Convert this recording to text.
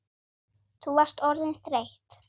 Þú varst orðin þreytt.